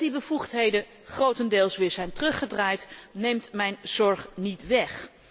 Dat die bevoegdheden grotendeels weer zijn teruggedraaid, neemt mijn zorg niet weg.